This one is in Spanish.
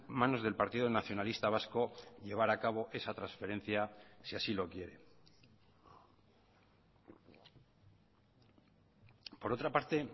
manos del partido nacionalista vasco llevar a cabo esa transferencia si así lo quiere por otra parte